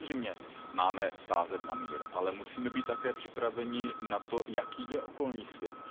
Samozřejmě máme sázet na mír, ale musíme být také připraveni na to, jaký je okolní svět.